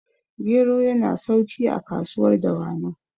gero yana sauki a kasuwar dawanau